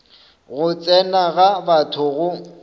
go tsena ga batho go